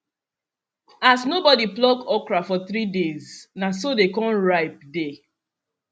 as nobody pluck okra for three days na so dey con ripe dey